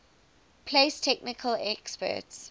place technical experts